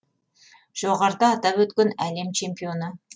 жоғарыда атап өткен әлем чемпионы